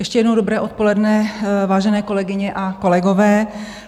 Ještě jednou dobré odpoledne, vážené kolegyně a kolegové.